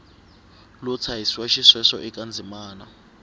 lo tshahisiwa xisweswo eka ndzimana